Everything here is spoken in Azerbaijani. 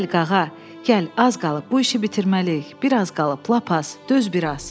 Gəl qağa, gəl, az qalıb bu işi bitirməliyik, biraz qalıb lap az, döz biraz.